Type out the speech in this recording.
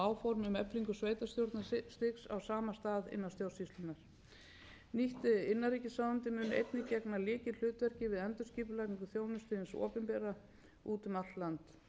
á sama stað innan stjórnsýslunnar nýtt innanríkisráðuneyti mun einnig gegna lykilhlutverki við endurskipulagningu þjónustu hins opinbera úti um allt land fyrirhuguð sameining ráðuneyta er umfangsmikið verkefni